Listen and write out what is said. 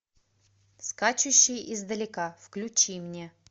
скачущий издалека включи мне